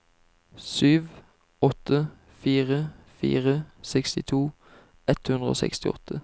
sju åtte fire fire sekstito ett hundre og sekstiåtte